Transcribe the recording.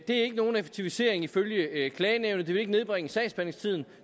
er ikke nogen effektivisering ifølge klagenævnet det vil ikke nedbringe sagsbehandlingstiden